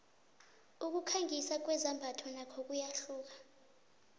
ukukhangisa kwezambatho nakho kuyahluka